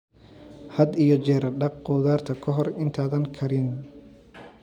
Had iyo jeer dhaq khudaarta ka hor intaadan karinin.